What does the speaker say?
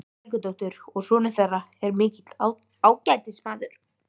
Helgadóttur, og sonur þeirra er mikill ágætismaður.